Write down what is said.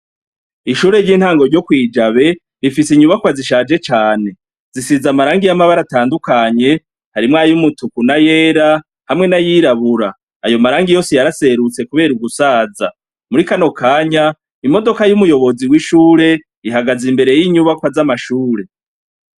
Ishure ry'intango ryo kwijabe rifise inyubakwa zishaje cane zisiza amaranga y'amabara atandukanye harimwayo umutuku na yera hamwe n'ayirabura ayo marangi yose yaraserutse, kubera ugusaza muri kanokanya imodoka y'umuyobozi w'ishure ihagaze imbere y'inyubakwa z'amashure.